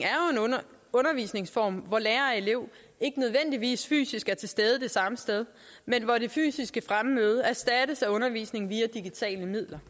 undervisningsform hvor lærer og elev ikke nødvendigvis fysisk er til stede det samme sted men hvor det fysiske fremmøde erstattes af undervisning via digitale medier